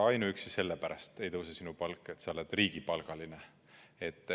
Ainuüksi sellepärast ei tõuse sinu palk, et sa oled riigipalgaline.